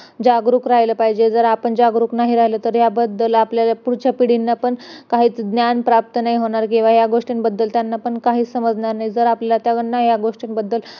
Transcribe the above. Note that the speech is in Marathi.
आयुष्य वाढते निद्रा चांगली येते त्वचा सुकुमार होते , व शरीर दृढ बनते एवढे सगळे फायदे अभ्यंगामुळे आपणास प्राप्त होतात वायूचे आश्रेय स्थान त्वचा आहे तसेच स्पर्श स्पर्श ज्ञान वायूचे कार्य आहे.